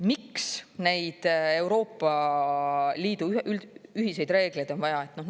Miks neid Euroopa Liidu ühiseid reegleid on vaja?